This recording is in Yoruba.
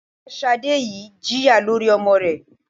Ìyá Sadé yìí jẹ̀yà lórí ọmọ rẹ